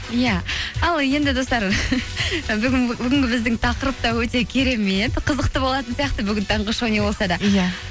иә ал енді достар і бүгінгі біздің тақырып та өте керемет қызықты болатын сияқты бүгін таңғы шоу не болса да иә